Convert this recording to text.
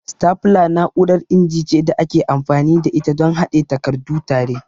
Stapler na'urar inji ce da ake amfani da ita don haɗe takardu tare.